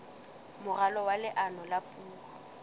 moralo wa leano la puo